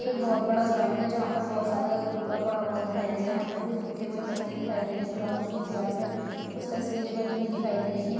ये बहुत बड़ा ग्राउंड है जहां पर बहुत सारा कूड़ा पड़ा हुआ दिखाई दे रहा है यहां पर कुछ सूखे हुए पत्ते दिखाई दे रहे है ग्राउंड की दीवार पर कुछ तस्वीरें बनी हुई दिखाई दे रही है।